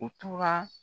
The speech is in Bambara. U tora